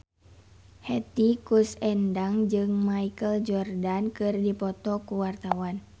Hetty Koes Endang jeung Michael Jordan keur dipoto ku wartawan